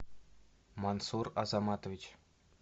мансур азаматович